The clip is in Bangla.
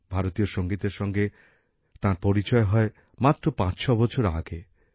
ভারতীয় সঙ্গীতের সঙ্গে তাঁর পরিচয় হয় মাত্র ৫৬ বছর আগে